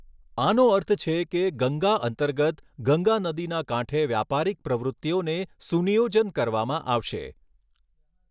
આનો અર્થ છે કે ગંગા અંતર્ગત ગંગા નદીના કાંઠે વ્યાપારિક પ્રવૃત્તિઓને સુનિયોજન કરવામાં આવશે